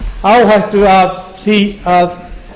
áhættu af því að